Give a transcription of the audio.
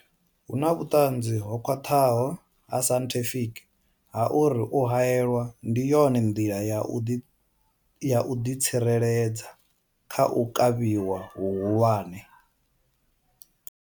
Hu na vhuṱanzi ho khwaṱhaho ha sainthifiki ha uri u haelwa ndi yone nḓila ya u ḓi tsireledza kha u kavhiwa hu hulwane.